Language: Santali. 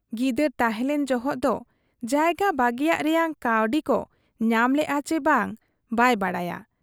ᱜᱤᱫᱟᱹᱨ ᱛᱟᱦᱮᱸᱞᱮᱱ ᱡᱚᱦᱚᱜ ᱫᱚ ᱡᱟᱭᱜᱟ ᱵᱟᱹᱜᱤᱭᱟᱜ ᱨᱮᱭᱟᱝ ᱠᱟᱹᱣᱰᱤᱠᱚ ᱧᱟᱢ ᱞᱮᱜ ᱟ ᱪᱤ ᱵᱟᱝ ᱵᱟᱭ ᱵᱟᱰᱟᱭᱟ ᱾